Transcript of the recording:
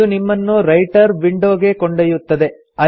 ಇದು ನಿಮ್ಮನ್ನು writer window ಗೆ ಕೊಂಡೊಯ್ಯುತ್ತದೆ